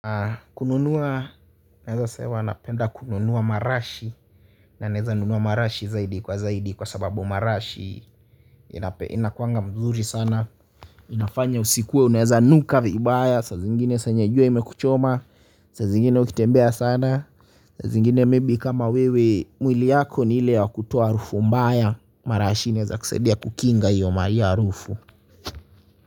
Kununua naweza sema napenda kununua marashi na nawezanunua marashi zaidi kwa zaidi kwa sababu marashi kwanga mzuri sana inafanya usikuwe unawezanuka vibaya saa zingine saa yenye jua imekuchoma saa zingine ukitembea sana saa zingine maybe kama wewe mwili yako ni ile ya kutoa harufu mbaya marashi inaweza kusaidia kukinga iyo harufu.